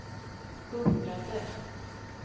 undrade